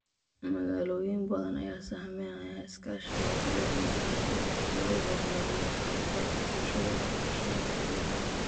Magaalooyin badan ayaa sahaminaya iskaashiga ururada maxaliga ah si loo horumariyo ka qaybgalka bulshada ee qorshaynta cimilada.